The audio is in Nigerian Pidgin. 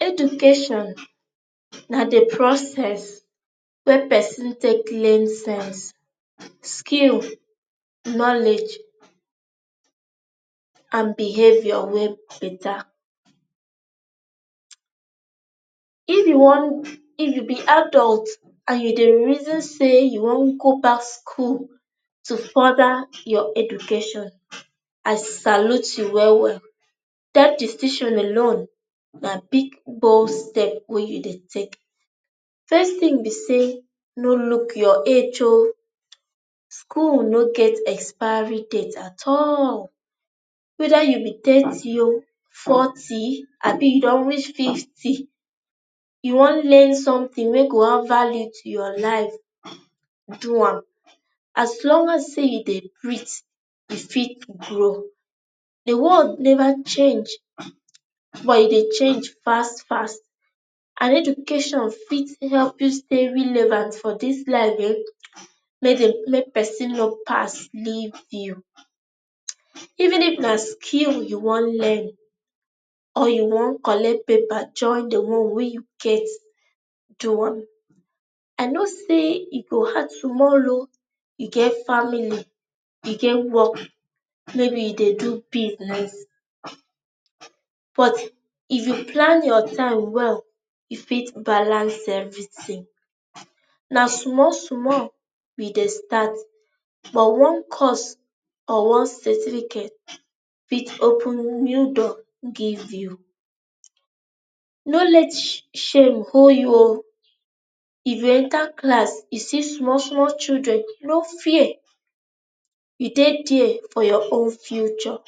education na the process wey pesin take learn things, skill, knowledge and behaviour wey beta. if you wan if you be adult and you dey reason say you wan go back school to further your education, i salute you well well,. that decision alone na big bold step wey you dey take first thing be say, no look your age ooo. school no get expiry date at alllll. weda you be thirty oo, fourty abi you dun reach fifty you wan learn something wey go add value to your life, do am. as long as say you dey breathe you fit grow. The world never change um but e dey change fast fast, and education fit help you stay realavant for this life ehen make dey make person no pass leave you um. even if na skill you wan learn or you wan collect paper join the one wey you get, do am i know say e go hard sumol o, you go get family, you get work maybe you dey do business but if you plan your time well. you fit balance everything. na small small we dey start but one course or one certificate fit open new door give you no let sh shame hol you ooo. if you enter class you see small small children, no fear you dey there for your own future